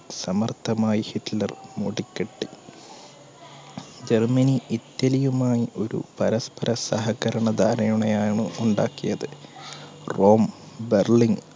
സമർത്ഥമായി Hitler Germany ഇറ്റലിയുമായി ഒരു പരസ്പര സഹകരണ ധാരണണയാണ് ഉണ്ടാക്കിയത് റോം, ബെർലിൻ